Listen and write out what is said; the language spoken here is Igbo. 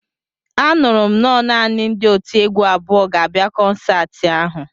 Anụrụ m nọ naanị ndị otiegwu abụọ ga-abịa kọnsaati ahụ